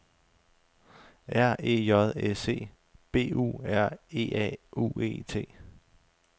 R E J S E B U R E A U E T